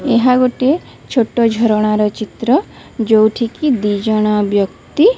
ଏହା ଗୋଟିଏ ଛୋଟ ଝରଣାର ଚିତ୍ର ଯୋଉଠି କି ଦୁଇଜଣ ବ୍ୟକ୍ତି --